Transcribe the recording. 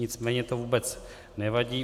Nicméně to vůbec nevadí.